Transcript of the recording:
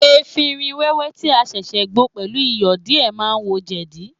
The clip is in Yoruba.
Efinrin wẹ́wẹ́ tí a ṣẹ̀ṣẹ̀ gbo pẹ̀lú Iyọ̀ díè ma ń wo jẹ̀dí.